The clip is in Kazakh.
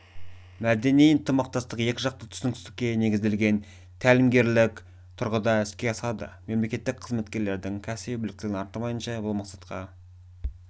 мәдени ынтымақтастық-екі жақты түсіністікке негізделген тәлімгерлік тұрғыда іске асады мемлекеттік қызметкерлердің кәсіби біліктілігін арттырмайынша бұл мақсатқа